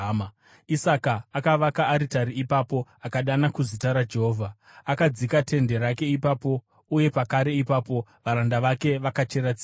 Isaka akavaka aritari ipapo akadana kuzita raJehovha. Akadzika tende rake ipapo uye pakare ipapo varanda vake vakachera tsime.